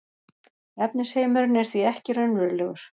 efnisheimurinn er því ekki raunverulegur